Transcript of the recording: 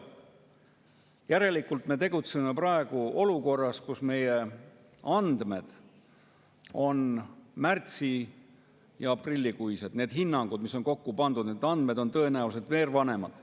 Järelikult me tegutseme praegu olukorras, kus meie andmed on märtsi‑ ja aprillikuised, õigemini need hinnangud, mis on kokku pandud, sest andmed on tõenäoliselt veel vanemad.